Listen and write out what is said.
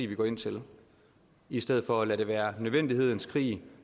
vi går ind til i stedet for at lade det være nødvendighedens krig